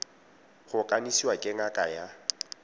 go kanisiwa ke ngaka ya